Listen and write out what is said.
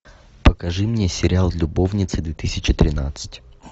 покажи мне сериал любовницы две тысячи тринадцать